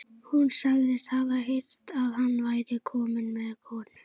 Hún sagðist hafa heyrt að hann væri kominn með konu.